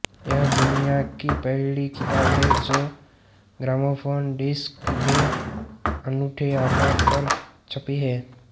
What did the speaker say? यह दुनिया की पहली किताब है जो ग्रामोफोन डिस्क के अनूठे आकार पर छपी है